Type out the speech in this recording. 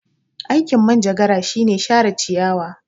Aikin Manjagara shine share ciyawa.